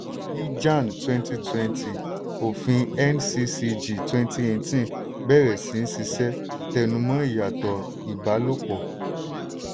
ní jan twenty twenty òfin nccg twenty eighteen bẹ̀rẹ̀ sí í sisẹ́ tẹnumọ̀ ìyàtọ̀ ìbálopọ̀.